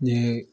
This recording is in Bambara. Ne